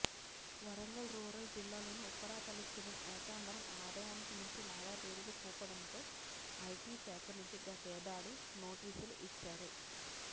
Warangal rural జిల్లాలోని ఉప్పరపల్లికి చెందిన ఏకాంబరం ఆదాయానికి మించి లావాదేవీలు చూపడంతో ఐటీశాఖ నుంచి గతేడాది నోటీసులు ఇచ్చారు